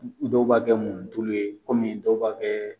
Dɔw b'a kɛ munitulu ye kɔmi dɔw b'a kɛ